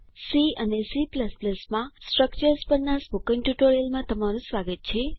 C અને C માં structures પરના સ્પોકન ટ્યુટોરીયલમાં તમારું સ્વાગત છે